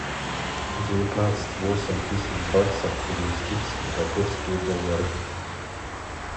девятнадцать восемь тысяч баксов перевести в сингапурские доллары